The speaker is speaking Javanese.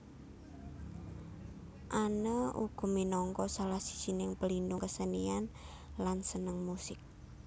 Anne uga minangka salah sijining pelindung kesenian lan seneng musik